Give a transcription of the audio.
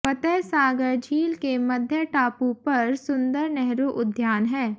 फतह सागर झील के मध्य टापू पर सुन्दर नेहरू उद्यान है